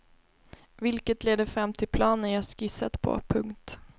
Vilket leder fram till planen jag skissat på. punkt